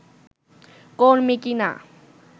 কর্মী কিনা